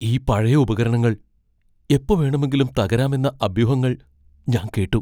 ഈ പഴയ ഉപകരണങ്ങൾ എപ്പോ വേണമെങ്കിലും തകരാമെന്ന അഭ്യൂഹങ്ങൾ ഞാൻ കേട്ടു.